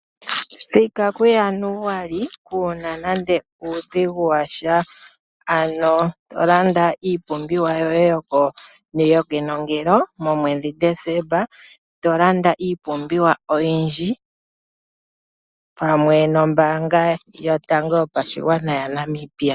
Thika kuJanuali kuu na nande uudhigu washa. Ano landa iipumbiwa yoye yokenongelo momwedhi Desemba. Tolanda iipumbiwa oyindji, pamwe nombaanga yotango yopashigwana yaNamibia.